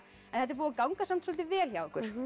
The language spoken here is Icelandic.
þetta er búið að ganga samt soldið vel hjá ykkur